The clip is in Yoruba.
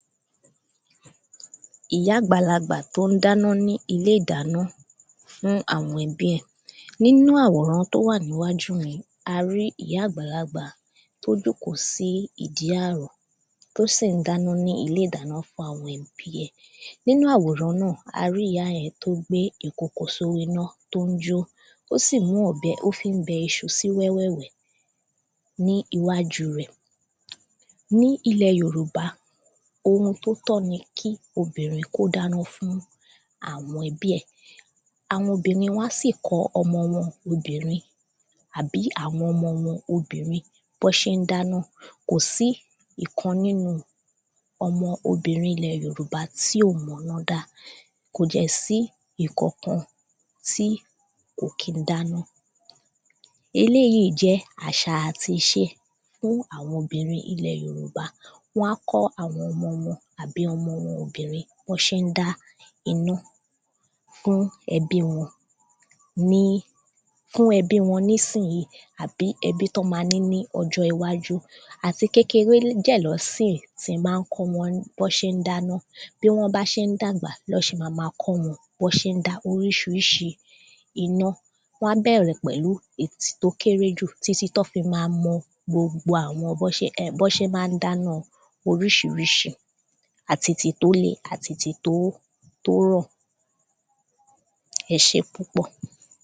ìyá àgbàlagbà tó ń dáná ní ilé ìdáná fún àwọn ẹbí ẹ̀ nínú àwòrán tó wà níwájú mi a rí ìyá àgbàlagbà tó jókóó sí ìdí àrò tó sì ń dáná ní ilé ìdáná fún àwọn ẹbí ẹ̀ nínú àwòràn náà a rí ìyá yẹn tó gbé ìkòkò sórí iná tó ń jó ó sì mú ọ̀bẹ ó fí ń bẹ iṣu sí wẹ́wẹ̀wẹ́ ní iwájú rẹ̀ ní ilẹ̀ yorùba ohun tó tọ́ ni kí obìnrin kó dáná fún àwọn ẹbí ẹ̀ àwọn obìnrin wọ́n á sì kọ́ ọmọ wọn obìnrin àbí àwọn ọmọ wọn obìnrin bí wọn ṣe ń dáná kò sí ìkan nínú ọmọ obìnrin ilẹ̀ yorùbá tí ò mọ iná dá kò fẹ́ sí ìkankan tí kò kí ń dáná eléyìí jẹ́ àsà àti ìṣe fún àwọn obìnrin ilẹ̀ yorùbá wọ́n á kọ́ àwọn ọmọ wọn àbí ọmọ wọn obìnrin bí wọ́n ṣe n] dá iná fún ẹbi wọn ní fún ẹbi wọn nísìyíì àbí ẹbí tọ́n ma ní ní ọjọ́ iwájú àti kékeré dẹ̀ ná síì ti má ń kọ́ wọn bí wọ́n se ń dáná bí wọ́n bá ṣe ń dàgbà ná ṣe ma ma kọ́ wọn bí wọn bí wọ́n ṣe ń dá oríṣiríṣi iná wọ́n á bẹ̀rẹ̀ pẹ̀lú ètí tó kéré jù títí tọ́n fi ma mọ Gbogbo àwọn bọ́n ṣe má ń dáná oríṣiríṣi àti tì tó le àti tì tó tó rọ̀ ẹṣé púpọ̀